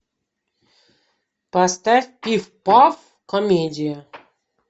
поставь пиф паф комедия